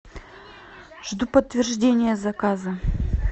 жду подтверждения заказа